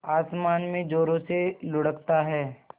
आसमान में ज़ोरों से लुढ़कता है